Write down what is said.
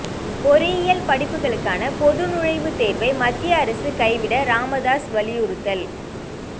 பொறியியல் படிப்புகளுக்கான பொதுநுழைவுத் தேர்வை மத்திய அரசு கைவிட ராமதாஸ் வலியுறுத்தல்